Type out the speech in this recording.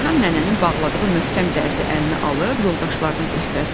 Reyhan nənənin bağladığı möhkəm dərzi əlinə alıb yoldaşlarına göstərdi.